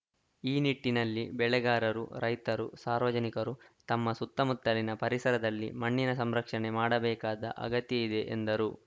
ಈ ನಿಟ್ಟಿನಲ್ಲಿ ಬೆಳೆಗಾರರು ರೈತರು ಸಾರ್ವಜನಿಕರು ತಮ್ಮ ಸುತ್ತಮುತ್ತಲಿನ ಪರಿಸರದಲ್ಲಿ ಮಣ್ಣಿನ ಸಂರಕ್ಷಣೆ ಮಾಡಬೇಕಾದ ಅಗತ್ಯೆ ಇದೆ ಎಂದರು